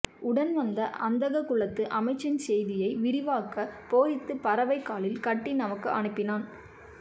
உடன் வந்த அந்தகக்குலத்து அமைச்சன் செய்தியை விரிவாகப் பொறித்து பறவை காலில் கட்டி நமக்கு அனுப்பினான்